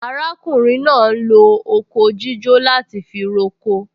Arákùnrin náà ń lo oko jíjó láti fi roko